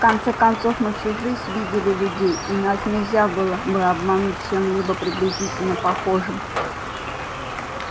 в конце концов мы всю жизнь видили людей и нас нельзя было бы обмануть чем-нибудь приблизительно похожим